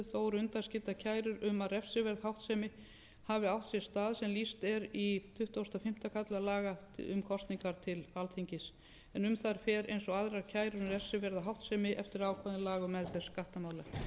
eru undanskildar kærur um að refsiverð háttsemi hafi átt sér stað sem lýst er í tuttugasta og fimmta kafla laga um kosningar til alþingis en um þær fer eins og aðrar kærur um refsiverða háttsemi eftir ákvæðum laga um meðferð